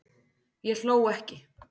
Ég hló ekki